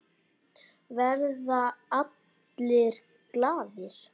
Verða allir glaðir?